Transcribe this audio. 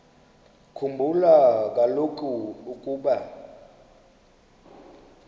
khumbula kaloku ukuba